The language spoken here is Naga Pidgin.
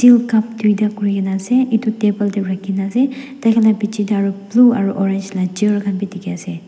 cup toida kurina asae etu table dae rakikina asae dai kan laka bichi dae aro blue aro orange la chair khan bi diki asae.